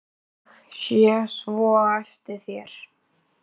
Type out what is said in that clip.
Ég sé svo eftir þér.